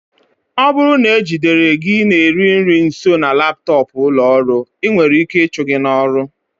Ọ bụrụ na e jidere gị na-eri nri nso na laptọọpụ ụlọ ọrụ, ị nwere ike ịchụ gị n'ọrụ